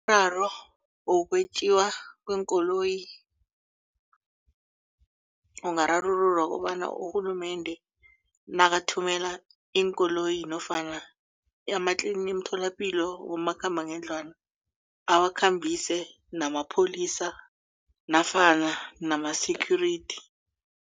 Umraro wokwetjiwa kweenkoloyi ungararululwa kobana urhulumende nakathumela iinkoloyi nofana imitholapilo ebomakhambangendlwana awakhambise namapholisa nafana nama-security.